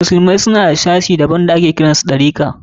Musulmai suna da wani sashi daban da ake kiran su Ɗarika.